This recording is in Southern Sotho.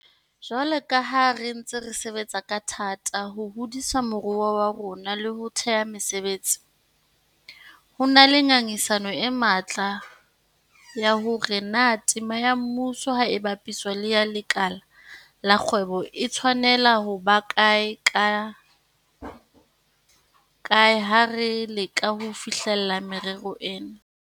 Jwalo ka ha re ntse re sebetsa ka thata ho hodisa moruo wa rona le ho thea mesebetsi, ho na le ngangisano e matla ya hore na tema ya mmuso ha e bapiswa le ya lekala la kgwebo e tshwanela ho ba kae ha re leka ho fihlella merero ena.